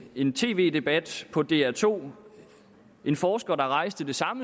i en tv debat på dr to en forsker der rejste